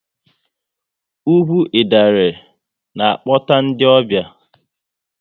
Ugwu Idanre na-akpọta ndị ọbịa